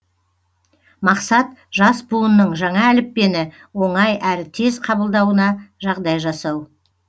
мақсат жас буынның жаңа әліппені оңай әрі тез қабылдауына жағдай жасау